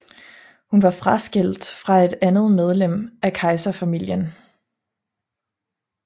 Hun var fraskilt fra et andet medlem af kejserfamilien